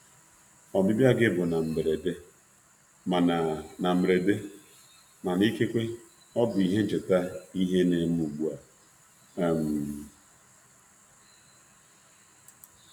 Ọbịbịa gị bụ na mberede, mana ikekwe ọ bụ ihe ncheta ihe ncheta ihe ne me ugbua.